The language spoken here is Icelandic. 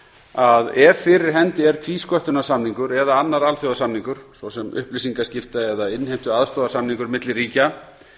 að ef fyrir hendi er tvísköttunarsamningur eða annar alþjóðasamningur svo sem upplýsingaskipta eða innheimtuaðstoðarsamningur milli ríkja